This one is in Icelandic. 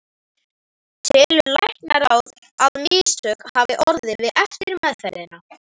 Telur læknaráð, að mistök hafi orðið við eftirmeðferðina?